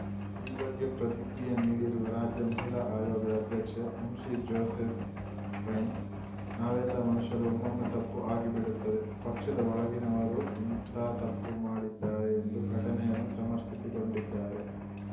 ಈ ಬಗ್ಗೆ ಪ್ರತಿಕ್ರಿಯೆ ನೀಡಿರುವ ರಾಜ್ಯ ಮಹಿಳಾ ಆಯೋಗದ ಅಧ್ಯಕ್ಷೆ ಎಂಸಿಜೋಸೆಪೈನ್‌ ನಾವೆಲ್ಲಾ ಮನುಷ್ಯರು ಒಮ್ಮೊಮ್ಮೆ ತಪ್ಪು ಆಗಿ ಬಿಡುತ್ತದೆ ಪಕ್ಷದ ಒಳಗಿನವರೂ ಇಂಥ ತಪ್ಪು ಮಾಡಿದ್ದಾರೆ ಎಂದು ಘಟನೆಯನ್ನು ಸಮರ್ಥಿಸಿಕೊಂಡಿದ್ದಾರೆ